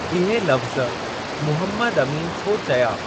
इहे लफ़्ज़ मुहम्मद अमीन छो चया?